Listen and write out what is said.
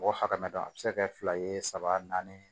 Mɔgɔ hakɛ dɔ a bɛ se ka kɛ fila ye saba naani